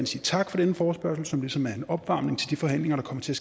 sige tak for denne forespørgsel som ligesom er en opvarmning til de forhandlinger der kommer til